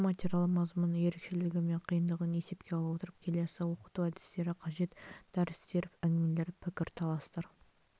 оқу материалы мазмұнының ерекшелігі мен қиындығын есепке ала отыра келесі оқыту әдістері қажет дәрістер әңгімелер пікірталастар